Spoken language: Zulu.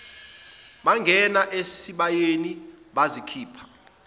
bangena esibayeni bazikhipha